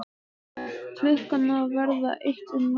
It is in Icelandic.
Klukkan að verða eitt um nótt!